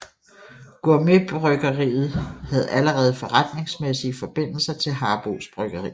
GourmetBryggeriet havde allerede forretningsmæssige forbindelser til Harboes Bryggeri